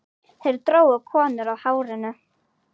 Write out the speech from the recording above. Þeir drógu konur á hárinu.